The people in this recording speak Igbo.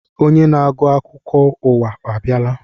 Onye na-agụ akụkọ ụwa abịala?